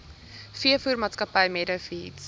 veevoermaatskappy meadow feeds